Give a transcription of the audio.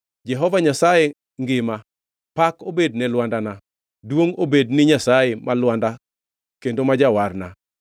“Jehova Nyasaye ngima! Pak obed ne Lwandana! Duongʼ obed ni Nyasaye, ma Lwanda kendo ma Jawarna.